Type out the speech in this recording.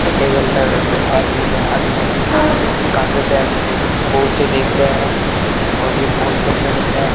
खड्डे के अंदर दो आदमी के हाथ में वो उसे देख रहे है और ये बहुत बढ़िया लग रहा --